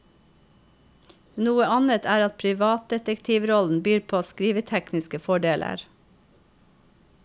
Noe annet er at privatdetektivrollen byr på skrivetekniske fordeler.